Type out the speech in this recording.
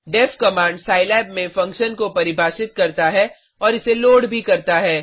def command Scilab में function को परिभाषित करता है और इसे लोड भी करता है